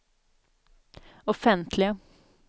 offentliga